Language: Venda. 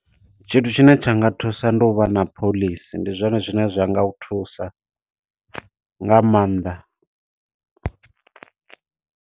Tshithu tshine tsha nga thusa, ndi u vha na phoḽisi. Ndi zwone zwine zwa nga u thusa nga maanḓa.